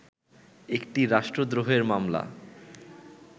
একটি রাষ্ট্রদ্রোহের মামলা